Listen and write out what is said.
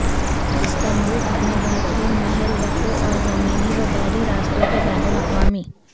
Istanbul اپنے بہترین محل وقوع اور زمینی و بحری راستوں کے بین الاقوامی